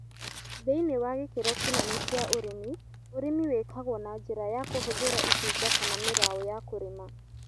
Thĩinĩ wa gĩkĩro kĩnene kĩa ũrĩmi, ũrĩmi wĩkagwo na njĩra ya kũhũthĩra itinga kana mĩraũ ya kũrĩma